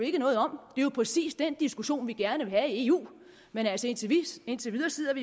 ikke noget om det er præcis den diskussion vi gerne vil have i eu men indtil videre sidder